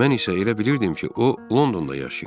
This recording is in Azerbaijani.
Mən isə elə bilirdim ki, o Londonda yaşayır.